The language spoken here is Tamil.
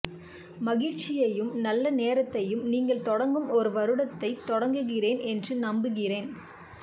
மகிழ்ச்சியையும் நல்ல நேரத்தையும் நீங்கள் தொடங்கும் ஒரு வருடத்தை தொடங்குகிறேன் என்று நம்புகிறேன்